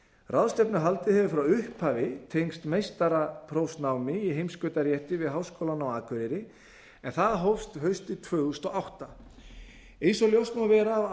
ráðstefnuhaldið hefur frá upphafi tengst meistaraprófsnámi í heimskautarétti við háskólann á akureyri en það hófst haustið tvö þúsund og átta eins og ljóst má vera af